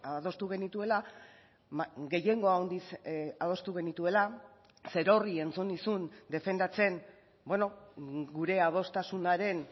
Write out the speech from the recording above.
adostu genituela gehiengo handiz adostu genituela zerorri entzun nizun defendatzen gure adostasunaren